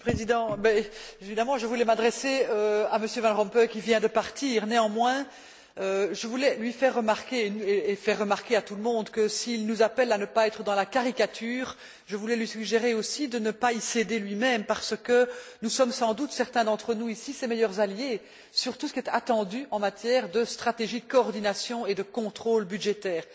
Monsieur le Président, je voulais évidemment m'adresser à M. Van Rompuy, qui vient de partir. Néanmoins, je voulais lui faire remarquer, et faire remarquer à tout le monde, que, s'il nous appelle à ne pas être dans la caricature, je voulais lui suggérer aussi de ne pas y céder lui même, parce que nous sommes sans doute, certains d'entre nous ici, ses meilleurs alliés sur tout ce qui est attendu en matière de stratégie de coordination et de contrôle budgétaire.